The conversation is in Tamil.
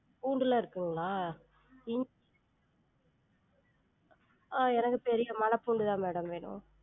பூண்டுலாம் இருக்குங்களா? இஞ்~ ஆஹ் எனக்கு தெரியும் மல பூண்டு தான் madam வேணும்